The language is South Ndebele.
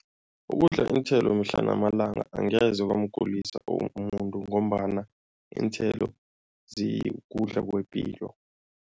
Ukudla iinthelo mihla namalanga angeze kwamgulisa umuntu ngombana iinthelo zikudla kwepilo.